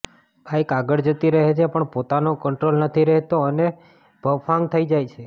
bike આગળ જતી રહે છે પણ પોતાનો કન્ટ્રોલ નથી રહેતો અને ભફાંગ થઈ જાય છે